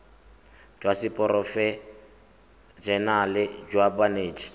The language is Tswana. jwa seporofe enale jwa banetshi